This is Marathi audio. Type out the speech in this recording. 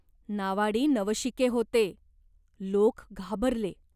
नावाडी नवशिके होते ! लोक घाबरले.